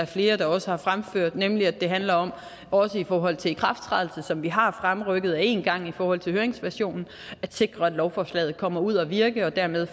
flere også har fremført nemlig at det handler om også i forhold til ikrafttrædelsen som vi har fremrykket en gang i forhold til høringsversionen af forslaget at sikre at lovforslaget kommer ud at virke og dermed